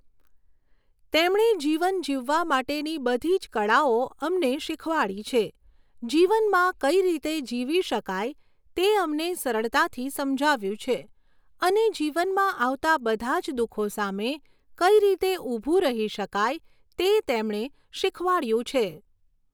તેમણે જીવન જીવવા માટેની બધી જ કળાઓ અમને શીખવાડી છે જીવનમાં કઈ રીતે જીવી શકાય તે અમને સરળતાથી સમજાવ્યું છે અને જીવનમાં આવતાં બધાં જ દુઃખો સામે કઈ રીતે ઊભું રહી શકાય તે તેમણે શીખવાડયું છે